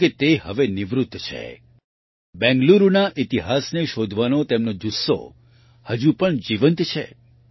જો કે તે હવે નિવૃત્ત છે બેંગલુરુના ઈતિહાસને શોધવાનો તેમનો જુસ્સો હજુ પણ જીવંત છે